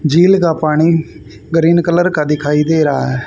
झील का पानी गरीन कलर का दिखाई दे रहा है।